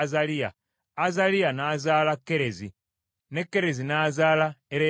Azaliya n’azaala Kerezi, ne Kerezi n’azaala Ereyaasa.